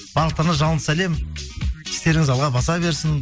барлықтарына жалынды сәлем істеріңіз алға баса берсін